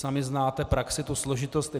Sami znáte praxi, tu složitost.